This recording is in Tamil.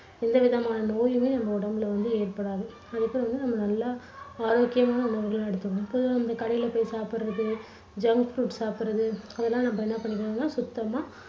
எந்த விதமான நோயுமே நம்ம உடம்புல வந்து ஏற்படாது. அதுக்கு வந்து நம்ம நல்லா ஆரோக்கியமான உணவுகளா எடுத்துக்கணும். எப்போதும் வந்து கடைல போய் சாப்பிடுறது junk food சாப்பிடுறது அதெல்லாம் நம்ப என்ன பண்ணிக்கணும்னா சுத்தமா